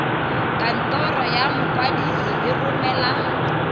kantoro ya mokwadise e romela